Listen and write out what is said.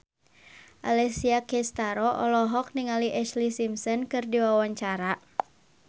Alessia Cestaro olohok ningali Ashlee Simpson keur diwawancara